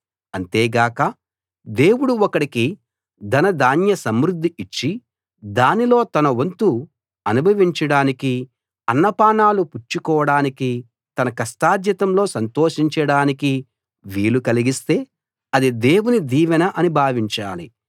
అంతే గాక దేవుడు ఒకడికి ధనధాన్య సమృద్ధి ఇచ్చి దానిలో తన వంతు అనుభవించడానికి అన్నపానాలు పుచ్చుకోడానికి తన కష్టార్జితంలో సంతోషించడానికి వీలు కలిగిస్తే అది దేవుని దీవెన అని భావించాలి